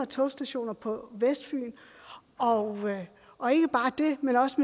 togstationer på vestfyn og og ikke bare det men også